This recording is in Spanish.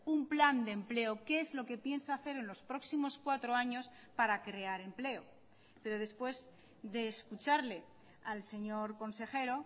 un plan de empleo qué es lo que piensa hacer en los próximos cuatro años para crear empleo pero después de escucharle al señor consejero